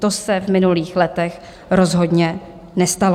To se v minulých letech rozhodně nestalo.